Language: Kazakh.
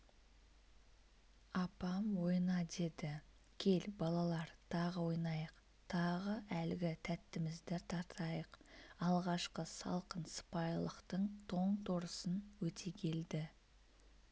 апам ойна деді кел балалар тағы ойнайық тағы әлгі тәттімізді тартайық алғашқы салқын сыпайылықтың тоң-торысын өтегелді